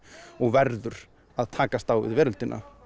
og verður að takast á við veröldina